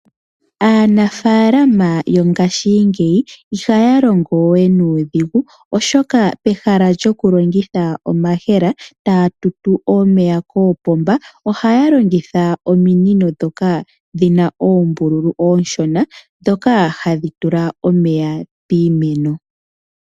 Aanafaalama yongashingeyi ihaya longo we nuudhigu oshoka pehala lyokulongitha omayemele taya tutu omeya koopomba ohaya longitha ominino ndhoka dhi na oombululu oonshona ndhoka hadhi tula omeya piimeno.